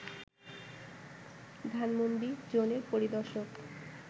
ধানমণ্ডি জোনের পরিদর্শক